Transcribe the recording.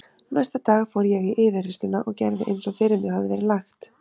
Næsta dag fór ég í yfirheyrsluna og gerði eins og fyrir mig hafði verið lagt.